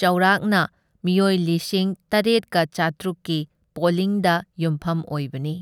ꯆꯥꯎꯔꯥꯛꯅ ꯃꯤꯑꯣꯏ ꯂꯤꯁꯤꯡ ꯇꯔꯥꯠꯀ ꯆꯥꯇ꯭ꯔꯨꯛꯀꯤ ꯄꯣꯂꯤꯡꯗ ꯌꯨꯝꯐꯝ ꯑꯣꯏꯕꯅꯤ꯫